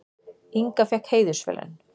Inga fékk heiðursverðlaun